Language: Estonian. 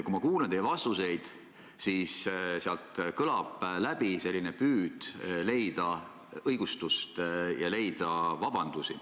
Kui ma kuulan teie vastuseid, siis sealt kõlab läbi selline püüd leida õigustust ja vabandusi.